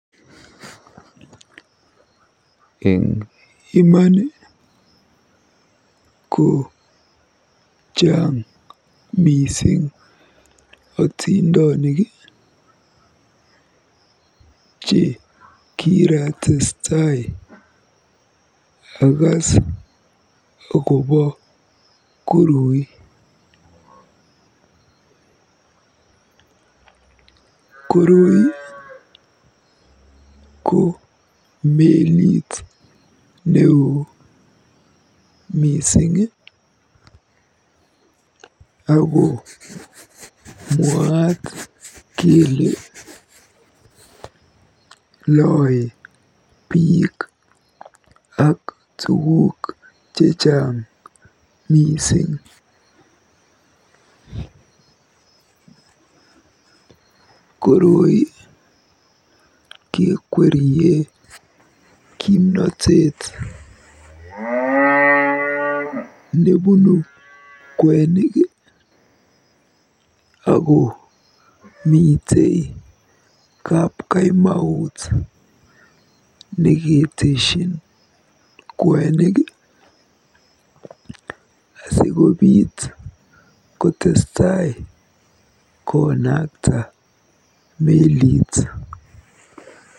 Eng imani ko chaang mising otindonik che kiratestai akaas akobo koroi. Koroi ko melit neoo mising ako mwaaat kele lae biik ak tuguk chechang mising. Koroi kekwerie kimnatet nebunu kwenik akomite kapkaimaut neketeshin kwenik asikotestai konakta melit.